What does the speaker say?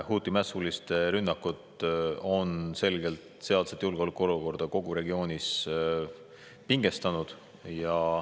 Huthi mässuliste rünnakud on selgelt julgeolekuolukorda kogu selles regioonis pingestanud.